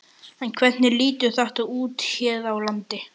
En hvernig lítur þetta út hér á landi?